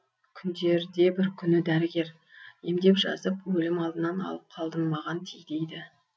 күндерде бір күні дәрігер емдеп жазып өлім алдынан алып қалдым маған ти дейді